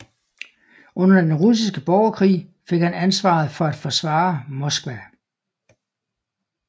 Under Den Russiske Borgerkrig fik han ansvaret for at forsvare Moskva